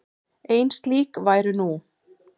Ein slík væru nú.